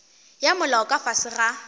ya molao ka fase ga